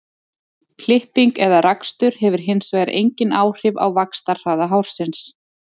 klipping eða rakstur hefur hins vegar engin áhrif á vaxtarhraða hársins